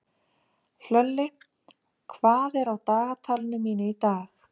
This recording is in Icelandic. Hlölli, hvað er á dagatalinu mínu í dag?